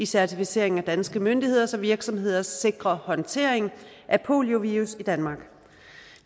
certificering af danske myndigheders og virksomheders sikre håndtering af poliovirus i danmark